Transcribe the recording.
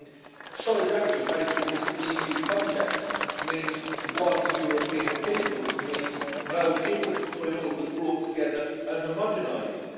I think solidarity, in this EU context, means one European people it means no difference between all of us, brought together and homogenised.